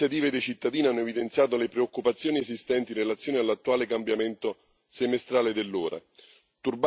Varie iniziative dei cittadini hanno evidenziato le preoccupazioni esistenti in relazione all'attuale cambiamento semestrale dell'ora.